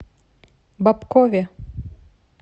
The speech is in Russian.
бобкове